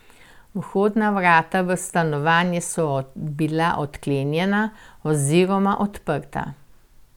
Vhodna vrata v stanovanje so bila odklenjena oziroma odprta.